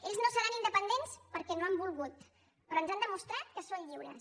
ells no seran independents perquè no han volgut però ens han demostrat que són lliures